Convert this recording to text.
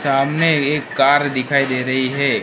सामने एक कार दिखाई दे रही है।